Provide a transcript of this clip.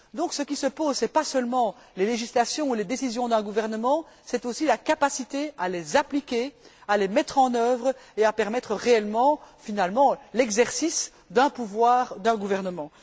Donc ce qui importe, ce n'est pas seulement les législations ou les décisions d'un gouvernement, c'est aussi la capacité à les appliquer, à les mettre en œuvre et à permettre réellement l'exercice d'un pouvoir, d'un gouvernement.